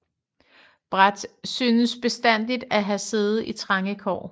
Bradt synes bestandig at have siddet i trange kår